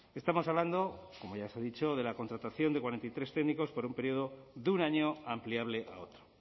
estamos hablando como ya se ha dicho de la contratación de cuarenta y tres técnicos por un periodo de un año ampliable a otro